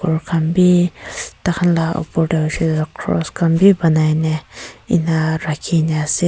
gour khan bhi tar khan laga opor te hoise cross khan banai ne ena rakhi kina ase.